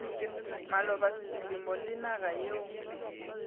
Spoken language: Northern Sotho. maloba selemo le naga yeo